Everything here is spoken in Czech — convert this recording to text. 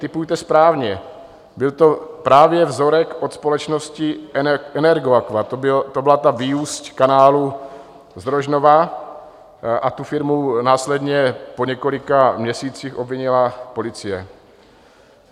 Tipujete správně, byl to právě vzorek od společnosti Energoaqua, to byla ta vyúsť kanálu z Rožnova, a tu firmu následně po několika měsících obvinila policie.